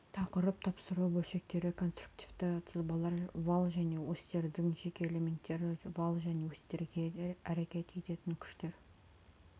тақырып тапсыру бөлшектері конструктивті сызбалар вал және осьтердің жеке элементтері вал және осьтерге әрекет ететін күштер